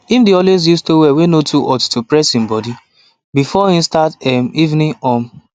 him dey always use towel way no too hot to press him body before him start em evening um